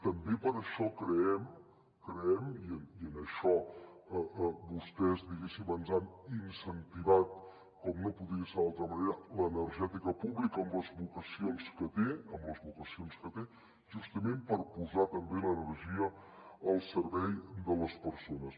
també per això creem i en això vostès diguéssim ens han incentivat com no podia ser d’altra manera l’energètica pública amb les vocacions que té justament per posar també l’energia al servei de les persones